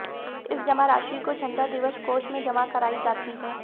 इस जमा राशि को झंडा दिवस कोष में जमा कराई जाती है